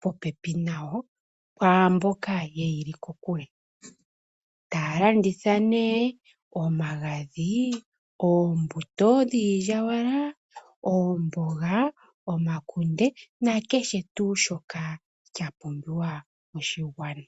popepi nayo kwaamboka yeyili kokule taya landitha nee omagadhi, oombuto dhiilyaalyaaka, oomboga, omakunde nakehe tuu shoka shapumbiwa moshigwana.